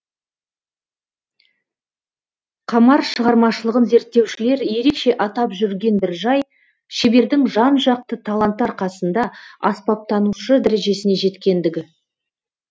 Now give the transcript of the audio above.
қамар шығармашылығын зерттеушілер ерекше атап жүрген бір жай шебердің жан жақты таланты арқасында аспаптанушы дәрежесіне жеткендігі